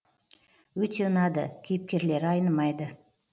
өте ұнады кейіпкерлері айнымайды